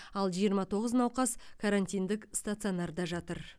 ал жиырма тоғыз науқас карантиндік стационарда жатыр